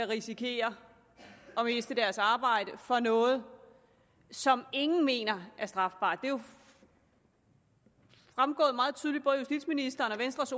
risikere at miste deres arbejde for noget som ingen mener er strafbart det er jo fremgået meget tydeligt både af justitsministerens venstres